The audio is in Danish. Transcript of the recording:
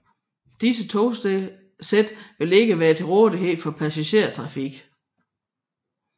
Disse togsæt vil ikke være til rådighed for passagertrafikken